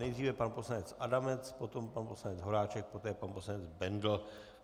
Nejdříve pan poslanec Adamec, potom pan poslanec Horáček, poté pan poslanec Bendl.